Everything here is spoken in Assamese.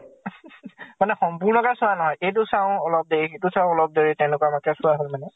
মানে সম্পূৰ্ণকে চোৱা নহয়। এইটো চাওঁ অলপ দেৰি, সেইটো চাওঁ অলপ দেৰি তেনেকুৱা মাকে চোৱা হয় মানে।